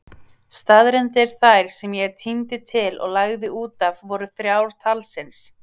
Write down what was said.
Staðreyndir þær sem ég tíndi til og lagði útaf voru þrjár talsins.